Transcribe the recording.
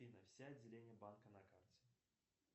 афина все отделения банка на карте